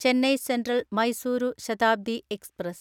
Chennai central Mysuru Shatabdi express